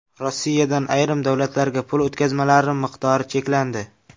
Rossiyadan ayrim davlatlarga pul o‘tkazmalari miqdori cheklandi.